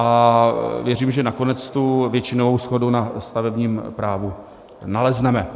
A věřím, že nakonec tu většinovou shodu na stavebním právu nalezneme.